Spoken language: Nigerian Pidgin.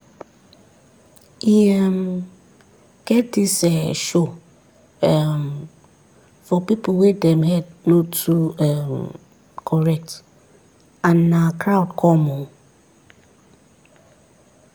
e um get this ehh show um for people wey dem head no too um correct and na crowd come o